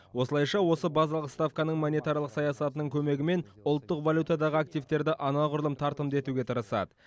осылайша осы базалық ставканың монетарлық саясатының көмегімен ұлттық валютадағы активтерді анағұрлым тартымды етуге тырысады